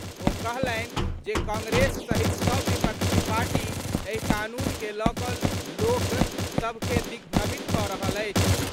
ओ कहलनि जे कांग्रेस सहित सभ विपक्षी पार्टी एहि कानून के लऽ कऽ लोक सभ के दिग्भ्रमित कऽ रहल अछि।